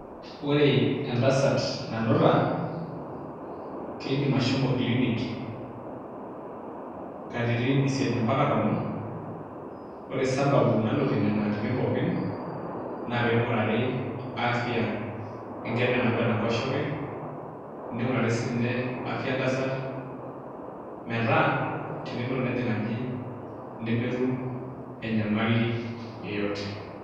Ore entasat nanuta keidim ashomo clinic katitin isiet mpaka tomon ore sababu nalotie nena atitin pookin naa ping'urari afya enkerai nanapita tenkoshoke ning'urari siinye afya entasat metaa tenelo nejing aji nemetum enyamali yeyote.